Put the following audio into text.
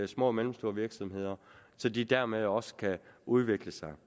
små og mellemstore virksomheder så de dermed også kan udvikle sig